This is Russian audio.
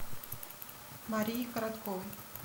марии коротковой